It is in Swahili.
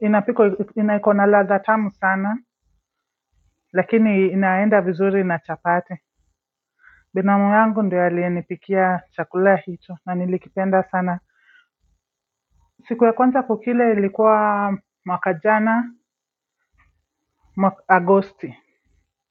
inapiko inaikona ladha tamu sana lakini inaenda vizuri na chapati binamu yangu ndio alienipikia chakula hicho na nilikipenda sana. Siku ya kwanza kukila ilikuwa Mwakajana, Agosti.